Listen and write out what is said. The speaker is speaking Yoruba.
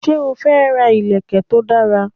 Sé o fẹ́ ra ìlèkè to dara?